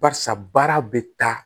Barisa baara bɛ taa